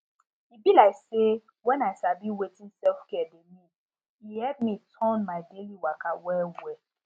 e be like say when i sabi wetin selfcare dey mean e help me turn my daily waka well well